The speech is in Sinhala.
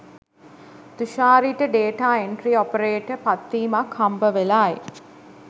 තුෂාරිට ඩේටා එන්ට්‍රි ඔපරේටර් පත්වීමක් හම්බවෙලයි